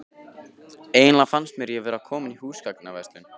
Eiginlega fannst mér ég vera komin í húsgagnaverslun.